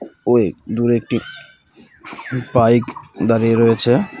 ওই দূরে একটি বাইক দাঁড়িয়ে রয়েছে।